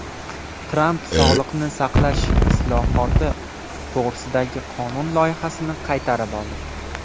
Tramp sog‘liqni saqlash islohoti to‘g‘risidagi qonun loyihasini qaytarib oldi.